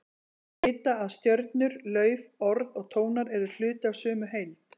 Þeir vita að stjörnur, lauf, orð og tónar eru hluti af sömu heild.